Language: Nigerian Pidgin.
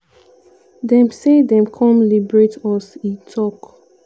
dem say dem come liberate us" e tok.